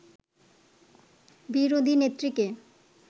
বিরোধী নেত্রীকে